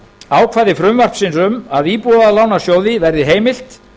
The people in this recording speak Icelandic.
ákvæði frumvarpsins um að íbúðalánasjóði verði heimilt